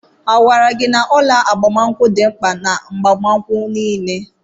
Agwara gị na ọla agbamakwụkwọ dị mkpa n'agbamakwụkwọ niile?